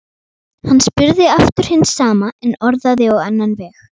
Hann spurði aftur hins sama en orðaði á annan veg.